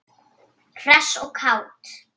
Hress og kát.